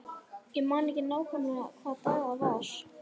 Ég man ekki nákvæmlega hvaða dag það var.